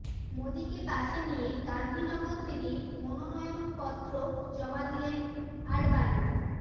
মোদীকে পাশে নিয়ে গান্ধীনগর থেকে মনোনয়ন পত্র জমা দিলেন আডবাণী